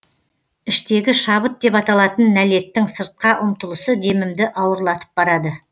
іштегі шабыт деп аталатын нәлеттің сыртқа ұмтылысы демімді ауырлатып барады